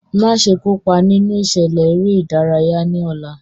Maṣe kopa ninu iṣẹlẹ ere-idaraya ni ọla!